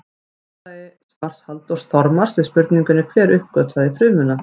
Í niðurlagi svars Halldórs Þormars við spurningunni Hver uppgötvaði frumuna?